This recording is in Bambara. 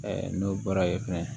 n'o bɔra ye fɛnɛ